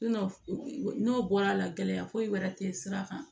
n'o bɔra la gɛlɛya foyi wɛrɛ tɛ sira kan